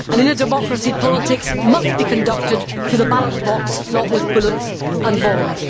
In a democracy, politics must be conducted through the ballot box, not with bullets and bombs.